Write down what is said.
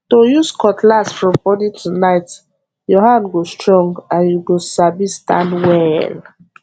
to use cutlass from morning to night your hand go strong and you go sabi stand well